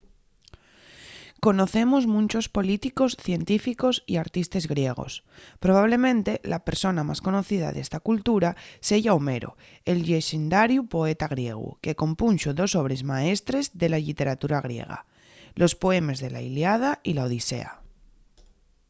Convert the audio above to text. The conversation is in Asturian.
conocemos munchos políticos científicos y artistes griegos. probablemente la persona más conocida d’esta cultura seya homero el llexendariu poeta griegu que compunxo dos obres maestres de la lliteratura griega: los poemes de la iliada y la odisea